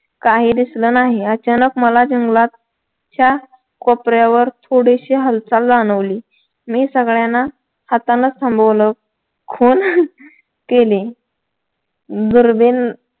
काही दिसलं नाही अचानक मला जंगलाच्या कोपऱ्यावर थोडीशी हालचाल जाणवली मी सगळ्यांना हातानं थांबवलं खून केले दुर्बीण